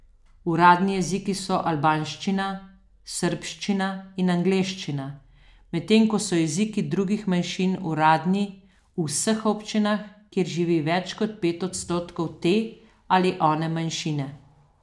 Uradni jeziki so albanščina, srbščina in angleščina, medtem ko so jeziki drugih manjšin uradni v vseh občinah, kjer živi več kot pet odstotkov te ali one manjšine.